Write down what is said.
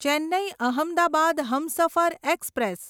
Chennai Ahmedabad Humsafar express